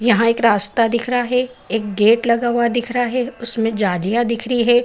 यहाँ एक रास्ता दिख रहा है। एक गेट लगा हुआ दिख रहा है उसमे जालियां दिख रही है।